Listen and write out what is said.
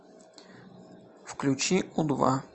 включи у два